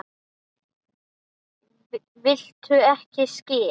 Viltu ekki skyr?